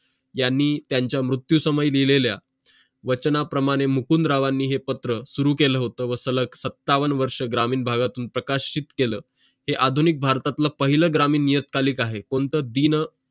यांनी त्यांच्या मृत्युसमयी दिलेल्या वचनाप्रमाणे मुकुंदरावांनी हे पत्र सुरू केलं होतं मसाला सत्तावन्न वर्ष ग्रामीण भागातून प्रकाशित केलं हे आधुनिक भारतातील पहिले ग्रामीण येत आली आहे कोणतं दिन